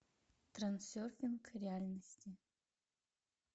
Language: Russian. трансерфинг реальности